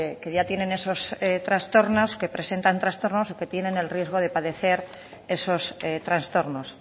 que ya tienen esos trastornos que presentan trastornos y que tienen el riesgo de padecer esos trastornos